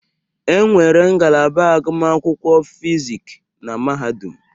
Enwere ngalaba agụmakwụkwọ Fizik na Mahadum.